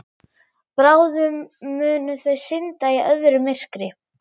Bráðum munu þau synda í öðru myrkri.